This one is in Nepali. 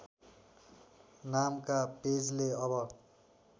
नामका पेजले अब